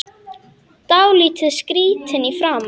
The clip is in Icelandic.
Dálítið skrýtin í framan.